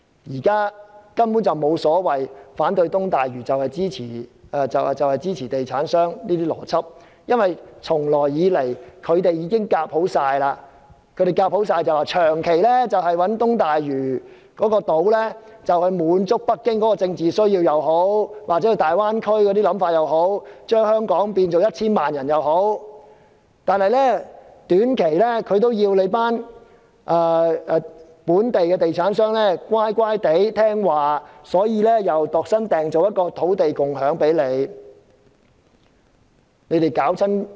現時根本沒有所謂反對東大嶼就是支持地產商的邏輯，因為他們早已談攏了，不論是長期用東大嶼人工島來滿足北京或大灣區的政治需要或想法，或把香港人口增加至 1,000 萬人，為了叫本地的地產商在短期內乖乖聽話，政府又為他們度身訂造了一個土地共享先導計劃。